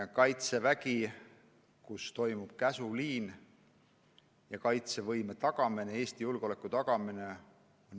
Kaitseväes toimib käsuliin ja Kaitsevägi peab tagama riigi kaitsevõime, Eesti julgeoleku.